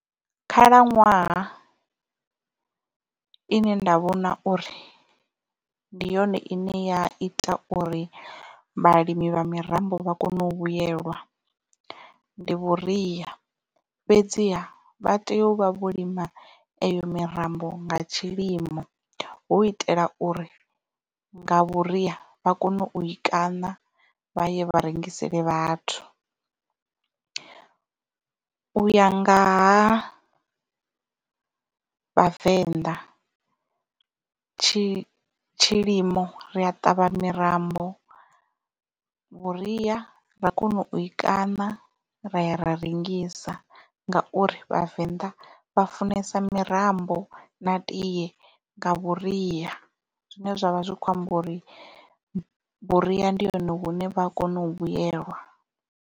Khalaṅwaha ine nda vhona uri ndi yone ine ya ita uri vhalimi vha mirambo vha kone u vhuyelwa ndi vhuria fhedziha vha tea u vha vho lima eyo mirambo nga tshilimo hu u itela uri nga vhuria vha kone u i kaṋa vha ye vha rengisele vhathu. Uya ngaha vhavenḓa tshi tshilimo ri a ṱavha mirambo vhuria ra kona u i kaṋa ra ya ra rengisa ngauri vhavenḓa vha funesa mirambo na tiye nga vhuria zwine zwavha zwi kho amba uri vhuria ndi hone hune vha a kona u vhuyelwa.